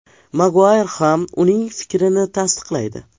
Maguayr ham uning fikrini tasdiqlaydi.